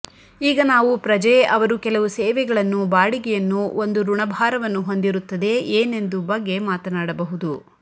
ಈಗ ನಾವು ಪ್ರಜೆ ಅವರು ಕೆಲವು ಸೇವೆಗಳನ್ನು ಬಾಡಿಗೆಯನ್ನು ಒಂದು ಋಣಭಾರವನ್ನು ಹೊಂದಿರುತ್ತದೆ ಏನೆಂದು ಬಗ್ಗೆ ಮಾತನಾಡಬಹುದು